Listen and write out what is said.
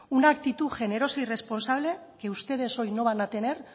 una actitud generosa y responsable que ustedes hoy no van a tener